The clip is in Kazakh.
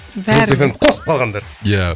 жұлдыз эф эм ді қосып қалғандар ия